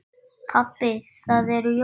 Pabbi það eru jól.